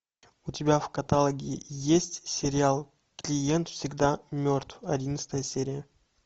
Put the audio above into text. у тебя в каталоге есть сериал клиент всегда мертв одиннадцатая серия